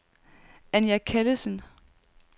Anja Callesen